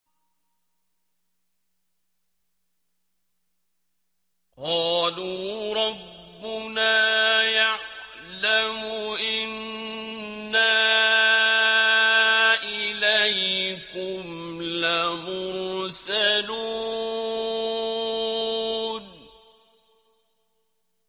قَالُوا رَبُّنَا يَعْلَمُ إِنَّا إِلَيْكُمْ لَمُرْسَلُونَ